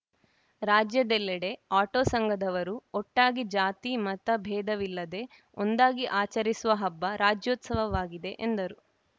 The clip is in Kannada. ರಾಜ್ಯದೆಲ್ಲೆಡೆ ಆಟೋ ಸಂಘದವರು ಒಟ್ಟಾಗಿ ಜಾತಿ ಮತ ಭೇದವಿಲ್ಲದೆ ಒಂದಾಗಿ ಆಚರಿಸುವ ಹಬ್ಬ ರಾಜ್ಯೋತ್ಸವವಾಗಿದೆ ಎಂದರು